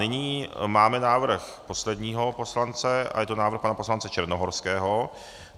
Nyní máme návrh posledního poslance a je to návrh pana poslance Černohorského.